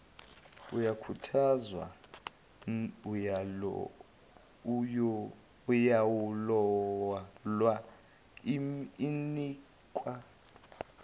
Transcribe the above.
uyakhuthazwa uyalolwa unikwa